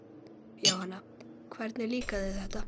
Jóhanna: Hvernig líkar þér þetta?